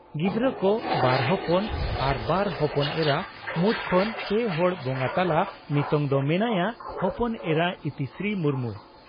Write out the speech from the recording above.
ᱜᱤᱫᱽᱨᱟᱹ ᱠᱚ ᱺ ᱵᱟᱨ ᱦᱚᱯᱚᱱ ᱟᱨ ᱵᱟᱨ ᱦᱚᱯᱚᱱ ᱮᱨᱟ ᱢᱩᱫᱽ ᱠᱷᱚᱱ ᱯᱮ ᱦᱚᱲ ᱵᱚᱸᱜᱟ ᱛᱟᱞᱟ ᱱᱤᱛᱚᱝ ᱫᱚ ᱢᱮᱱᱟᱭᱟ ᱦᱚᱯᱚᱱ ᱮᱨᱟ ᱤᱛᱤᱥᱨᱤ ᱢᱩᱨᱢᱩ ᱾